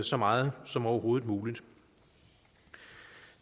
så meget som overhovedet muligt